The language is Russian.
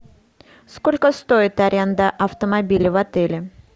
сколько стоит аренда автомобиля в отеле